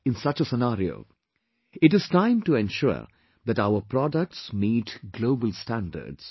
in such a scenario, it is time to ensure that our products meet global standards